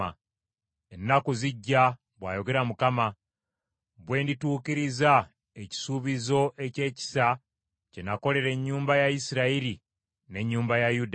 “ ‘Ennaku zijja,’ bw’ayogera Mukama , ‘lwe ndituukiriza ekisuubizo eky’ekisa kye nakolera ennyumba ya Isirayiri n’ennyumba ya Yuda.